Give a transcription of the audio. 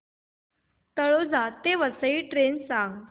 तळोजा ते वसई ट्रेन सांग